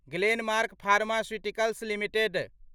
Glenmark pharmaceuticals limited